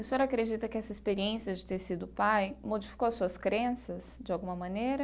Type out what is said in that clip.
O senhor acredita que essa experiência de ter sido pai modificou as suas crenças de alguma maneira?